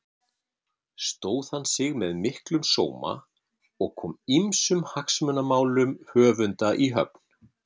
Stóð hann sig með miklum sóma og kom ýmsum hagsmunamálum höfunda í höfn.